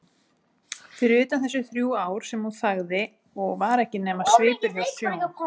Fyrir utan þessi þrjú ár sem hún þagði og var ekki nema svipur hjá sjón.